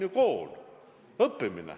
Ta peab õppima.